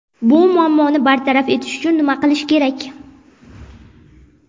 Bu muammoni bartaraf etish uchun nima qilish kerak?